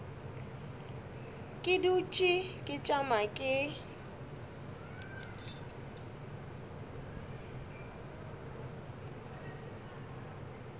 ke dutše ke tšama ke